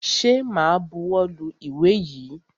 Ṣẹ ma buwọ́ lu ìwé yìí?